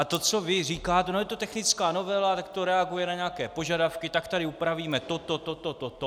A to, co vy říkáte: No je to technická novela, tak to reaguje na nějaké požadavky, tak tady upravíme to, to, to, to, to, to...